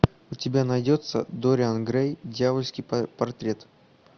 у тебя найдется дориан грей дьявольский портрет